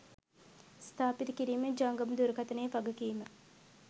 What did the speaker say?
ස්ථාපිත කිරීමෙන් ජංගම දුරකථයේ වගකීම